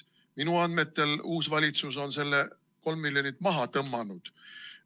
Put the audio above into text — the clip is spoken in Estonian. Minu andmetel on uus valitsus selle 3 miljonit maha tõmmanud.